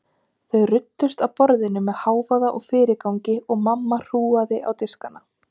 Þau ruddust að borðinu með hávaða og fyrirgangi og mamma hrúgaði á diskana.